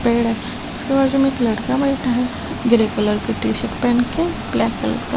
पेड़ उसके बाजू में एक लड़का बैठा है ग्रे कलर की टी शर्ट पहन के ब्लैक कलर का जिंस --